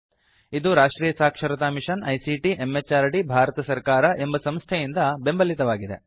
ಇದು ರಾಷ್ಟ್ರಿಯ ಸಾಕ್ಷರತಾ ಮಿಷನ್ ಐಸಿಟಿ ಎಂಎಚಆರ್ಡಿ ಭಾರತ ಸರ್ಕಾರ ಎಂಬ ಸಂಸ್ಥೆಯಿಂದ ಬೆಂಬಲಿತವಾಗಿದೆ